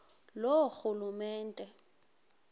loorhulumente